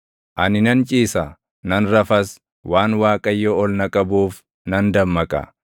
Ani nan ciisa; nan rafas; waan Waaqayyo ol na qabuuf nan dammaqa.